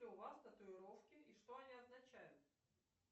у вас татуировки и что они означают